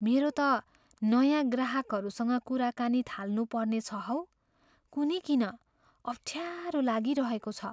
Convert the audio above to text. मेरो त नयाँ ग्राहकसँग कुराकानी थाल्नुपर्ने छ हौ। कुन्नी किन अफ्ठ्यारो लागिरहेको छ।